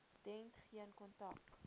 dent geen kontak